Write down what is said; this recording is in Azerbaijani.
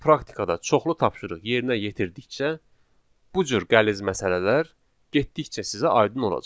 Siz praktikada çoxlu tapşırıq yerinə yetirdikcə bu cür qəliz məsələlər getdikcə sizə aydın olacaq.